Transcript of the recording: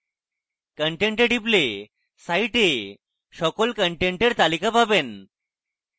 content a টিপলে site সকল content তালিকা পাবেন